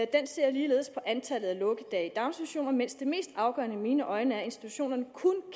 den ser ligeledes på antallet af lukkedage i daginstitutionerne mens det mest afgørende i mine øjne er at institutionerne